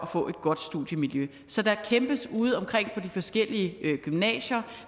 får et godt studiemiljø så der kæmpes udeomkring på de forskellige gymnasier